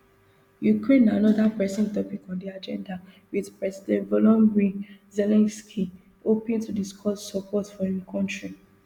ukraine na anoda pressing topic on di agenda wit president volodomyr zelensky hoping to discuss support for im kontri